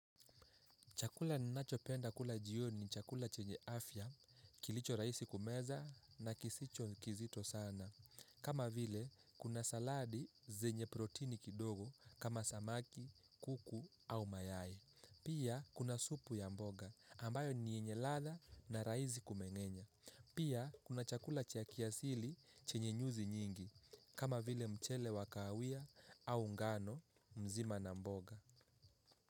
Chakula ninachopenda kula jioni ni chakula chenye afya, kilicho rahisi kumeza na kisicho kizito sana. Kama vile, kuna saladi zenye protini kidogo kama samaki, kuku au mayai. Pia, kuna supu ya mboga ambayo ni yenye ladha na rahisi kumengenya. Pia, kuna chakula cha kiasili chenye nyuzi nyingi. Kama vile mchele wakahawia au ngano mzima na mboga.